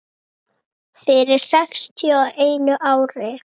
Fyrir sextíu og einu ári.